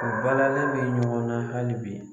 U balalen bɛ ɲɔgɔn na hali bi